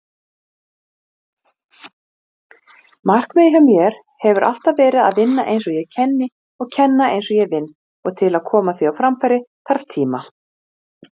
Þetta er mjög alvarleg staða.